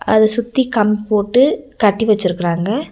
அத சுத்தி கம்ப் போட்டு கட்டி வச்சிருக்குறாங்க.